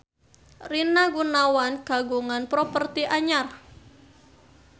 Rina Gunawan kagungan properti anyar